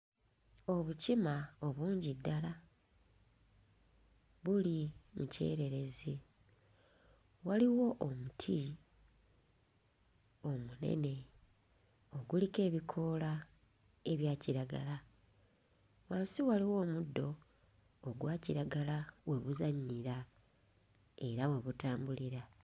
Obukima obungi ddala buli mu kyererezi. Waliwo omuti omunene oguliko ebikoola ebya kiragala, wansi waliwo omuddo ogwa kiragala we buzannyira era we butambulira.